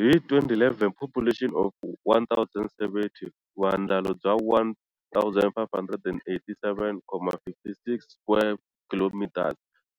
Hi 2011 population of 1070, vuandlalo bya 1,587.56 square kilometres,